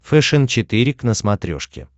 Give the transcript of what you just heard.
фэшен четыре к на смотрешке